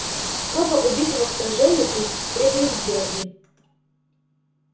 кобба убитого в сражении при фредериксберге